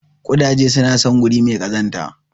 Ƙudaje suna son wuri mai kazanta.